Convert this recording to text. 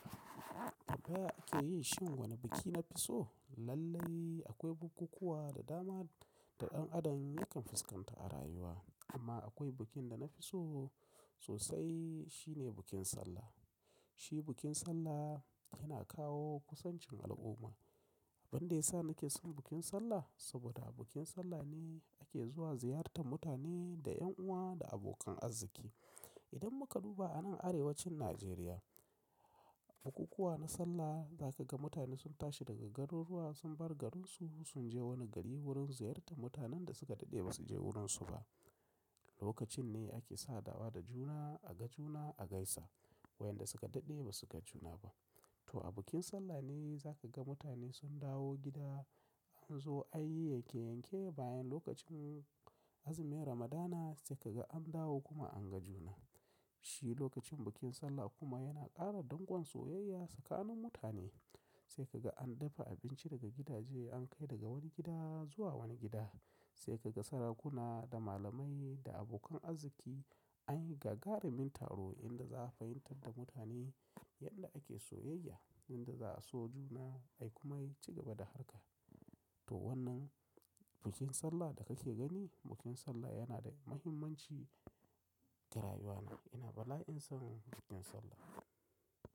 Tabbaya ake yin shu wani biki na fi so? Lallai akwai bukukuwa da dama da ɗan adam yakan fuskanta a rayuwa amma akwai bikin da na fi so sosai shine bikin Sallah. Shi bikin Sallah yana kawo kusancin al'umma. Abin da ya sa nake son bikin Sallah saboda a bikin Sallah ne ake zuwa ziyartar mutane da ƴan uwa da abokan arziki. Idan muka duba a nan Arewacin Najeriya, bukukuwa na Sallah za ka ga mutane sun tashi daga garuruwa sun bar garinsu sun je wani gari wurin ziyartar mutanen da suka daɗe ba su je wurinsu ba. Lokacin ne ake sa dawa da juna, a ga juna, a gaisa wayanda suka daɗe ba suka juna ba. To a bikin Sallah ne za ka ga mutane sun dawo gida, an zo an yi yanke-yanke bayan lokacin azumin Ramadana sai ka ga an dawo kuma an ga juna. Shi lokacin bikin Sallah kuma yana ƙara dangon soyayya tsakanin mutane. Sai ka ga an dafa abinci daga gidaje an kai daga wani gida zuwa wani gida. Sai ka ga sarakuna da malamai da abokan arziki an yi gagarumin taro inda za a fahimtar da mutane yadda ake soyayya, inda za a so juna, ai kuma ci gaba da harka. To wannan bikin Sallah da kake gani, bikin Sallah yana da muhimmanci da rayuwana. Ina bala'in son bikin Sallah.